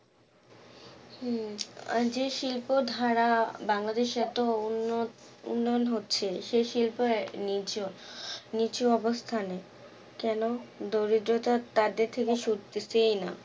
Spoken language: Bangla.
উম আর জে শিল্পধারা বাংলাদেশ এত উন্ন উন্নয়ন হচ্ছে সেই শিল্প আহ নিচু নিচু অবস্থানে কেন দরিদ্রতা তাদের থেকে সরতেছেই না